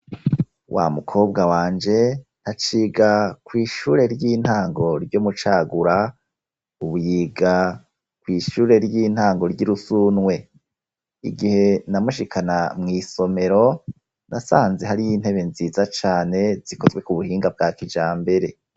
Wa mukobwa wanje ntaciga kw'ishure ry'intango ryo mucagura, ubu yiga ku ishure ry'intango ry'irusunwe igihe namushikana mu isomero nasanze hari y'intebe nziza cane zikozwe ku buhinga bwa kijambere.